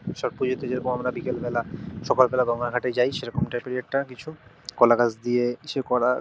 ছট পুজো -তে যেরকম আমরা বিকেল বেলা সকাল বেলা গঙ্গা ঘাটে যায়। সেরকম -এর একটা কিছু কলা গাছ দিয়ে কিছু করা।